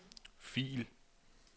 fil